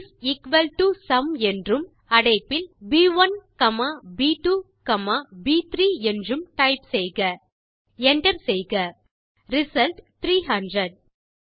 is equal to sum என்றும் அடைப்பில் ப்1 காமா ப்2 காமா ப்3 என்றும் டைப் செய்க Enter செய்க ரிசல்ட் 300